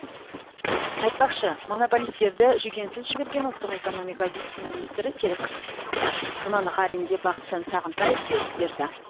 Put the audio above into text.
айтпақшы монополистерді жүгенсіз жіберген ұлттық экономика вице министрі серік жұманғаринге бақытжан сағынтаев сөгіс берді